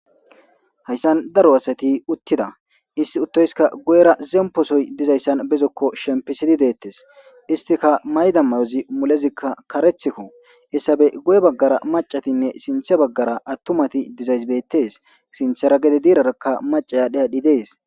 Hayssan daro asati uttida isti uttoyska guyera zemposoy dizayssan bezokko shempisidi deettes istika maydammayozi mulezikka karethikko issabe goye baggara macatinne sinthe baggara attumati dizaysbettes sinthera gede diirarakka maca yaadhi adhdhi dees.